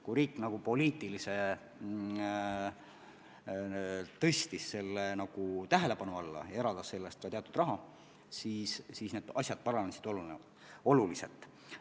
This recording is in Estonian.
Kui riik tõstis poliitiliselt selle küsimuse tähelepanu alla ja eraldas selleks ka teatud raha, siis asjade seis paranes oluliselt.